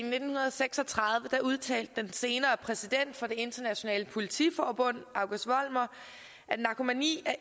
seks og tredive udtalte den senere præsident for det internationale politiforbund august vollmer at narkomani